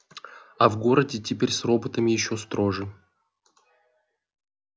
а в городе теперь с роботами ещё строже